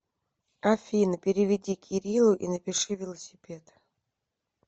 афина переведи кириллу и напиши велосипед